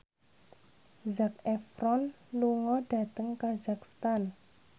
Zac Efron lunga dhateng kazakhstan